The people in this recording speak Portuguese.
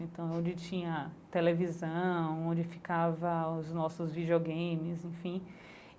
Então, onde tinha televisão, onde ficava os nossos videogames, enfim.